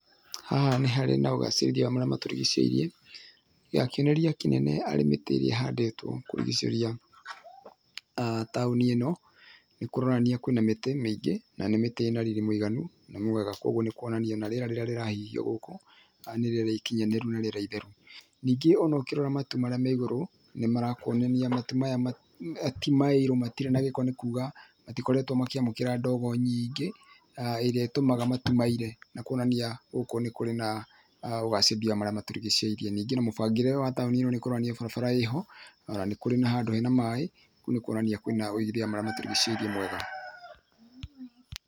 Haha nĩ harĩ na ũgacĩrithia wa marĩa ma tũrigicĩirie, kĩonereria kĩnene arĩ mĩtĩ ĩrĩa ĩhandĩtwo kũrigicĩria taũni ĩ no. Nĩkũronania kwĩna mĩtĩ mĩingĩ na nĩ mĩtĩ ĩna riri mũiganu na mwega, koguo nĩ kuonania ona rĩera rĩrĩa rĩrahihio gũkũ nĩ rĩera ĩkinyanĩru na rĩera ĩtheru. Ningĩ ona ũkũrora matu marĩa me ĩgũrũ nĩ marakĩonania matu maya tĩ maĩrũ, matirĩ na gĩko nĩ kuga matikoretwo makĩamũkĩra ndogo nyiingĩ, ĩrĩa ĩtũmaga matu maire nakuonania gũkũ nĩ kũrĩ na ũgacĩrithia wa marĩa matũrigicĩirie. Ningĩ na mũbangĩre wa taũni ĩno nĩ kũronania barabara ĩho, ona nĩ kũrĩ na handũ hena maĩ nĩkuonania kwina ũĩgithia wa marĩa matũrigicĩirie wega.